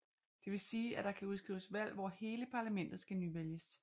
Det vil sige at der kan udskrives valg hvor hele parlamentet skal nyvælges